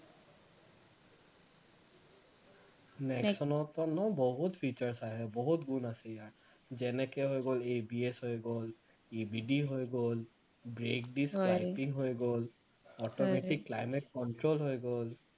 নেক্সনৰ পৰা ন বহুত features আহে বহুত গুণ আছে ইয়াৰ যেনেকে হৈ গল ABS হৈ গল EBB হৈ গল brake disc wiping হৈ গল automatic climate control হৈ গল